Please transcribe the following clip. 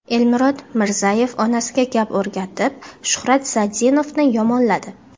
Elmurod Mirzayevning onasiga gap o‘rgatib Shuhrat Sadinovni yomonladi.